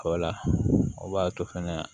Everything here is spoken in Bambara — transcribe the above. o b'a to fɛnɛ